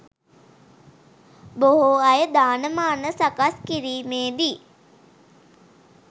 බොහෝ අය දාන මාන සකස් කිරීමේදි